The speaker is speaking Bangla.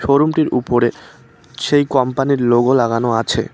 শোরুমটির উপরে সেই কোম্পানির লোগো লাগানো আছে।